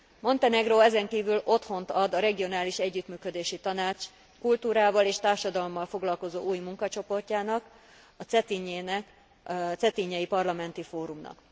Montenegró ezen kívül otthont ad a Regionális Együttműködési Tanács kultúrával és társadalommal foglalkozó új munkacsoportjának, a Cetinjei Parlamenti Fórumnak.